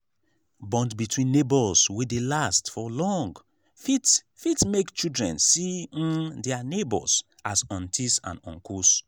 bond between neighbours wey dey last for long fit fit make children see um their neighbours as aunties and uncles